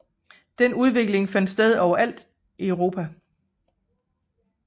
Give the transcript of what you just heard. Den udvikling fandt sted overalt Europa